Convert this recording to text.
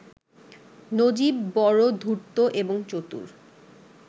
নজীব বড় ধূর্ত এবং চতুর